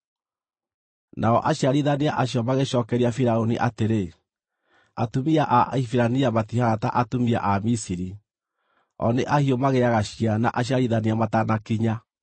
Nao aciarithania acio magĩcookeria Firaũni atĩrĩ, “Atumia a Ahibirania matihaana ta atumia a Misiri; o nĩ ahiũ magĩaga ciana aciarithania matanakinya.”